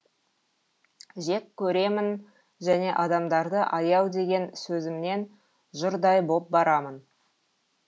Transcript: жек көремін және адамдарды аяу деген сөзімнен жұрдай боп барамын